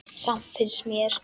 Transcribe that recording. Samt finnst mér.